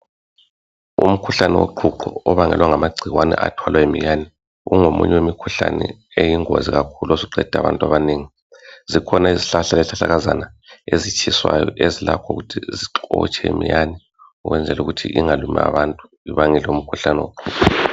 Umkhuhlane woqhuqho obangelwa ngamagcikwane athwala iminyane kungomunye umkhuhlane iyingozi kakhulu osuqede abantu abanengi. Izihlahla lezihlahlakazana ezitshiswayo ezilakho ukuthi zixotshe iminyane ukuthi ingalumi abantu kubangela umkhuhlane woqhuqho.